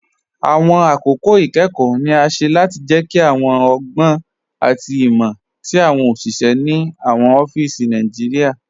Awọn akókò ikẹ́kọ̀ ni a ṣẹ́ láti jẹ́kí awọn ọ̀gbọn àti imọ̀ tí awọn oṣiṣẹ̀ ni awọn ọfísí Naijiria